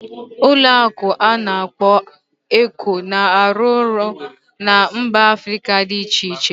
Ụlọ akụ ana akpo Eco na-arụ ọrụ na mba Africa dị iche iche